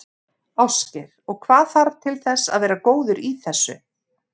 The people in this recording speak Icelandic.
Ásgeir: Og hvað þarf til þess að vera góður í þessu?